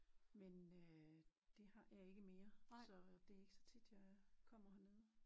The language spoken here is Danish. Men øh det har jeg ikke mere så det er ikke så tit jeg kommer hernede